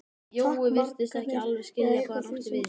Jói virtist ekki alveg skilja hvað hann átti við.